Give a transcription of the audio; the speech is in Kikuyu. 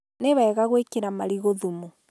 Nĩwega gwĩkĩra marigũ thumu.